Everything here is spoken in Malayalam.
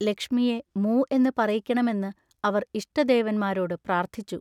ലക്ഷ്മിയെ മൂ എന്ന് പറയിക്കണമെന്ന് അവർ ഇഷ്ടദേവന്മാരോട് പ്രാർത്ഥിച്ചു.